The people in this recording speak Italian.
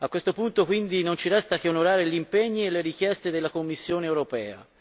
A questo punto, quindi, non ci resta che onorare gli impegni e le richieste della Commissione europea.